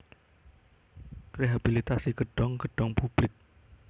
Rehabilitasi gedhong gedhong publik